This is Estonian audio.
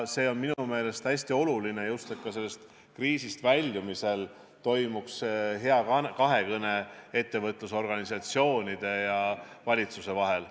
See on minu meelest hästi oluline, et ka kriisist väljumisel toimuks kahekõne ettevõtlusorganisatsioonide ja valitsuse vahel.